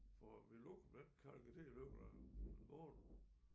For mit lokum den kalker til i løbet af en måned